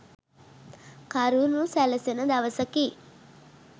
කරුණු සැලසෙන දවසකි